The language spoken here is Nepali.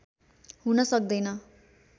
हुन सक्दैन